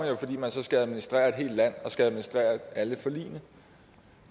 jo fordi man så skal administrere et helt land og skal administrere alle forligene